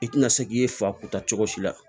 I tina se k'i fa kun ta cogo si la